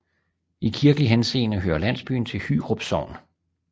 I kirkelig henseende hører landsbyen til Hyrup Sogn